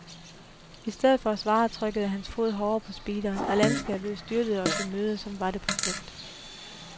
I stedet for at svare trykkede hans fod hårdere på speederen, og landskabet styrtede os i møde, som var det på flugt.